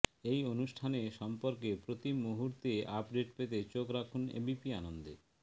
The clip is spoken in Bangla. এই অনুষ্ঠানে সম্পর্কে প্রতিমুহূর্তের আপডেট পেতে চোখ রাখুন এবিপি আনন্দে